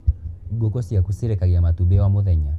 Ngũkũ ciaku cirekagia matumbĩ o mũthenya.